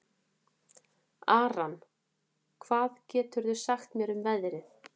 Aran, hvað geturðu sagt mér um veðrið?